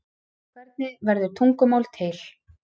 hvernig verður tungumál til